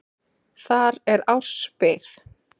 Þar er árs bið.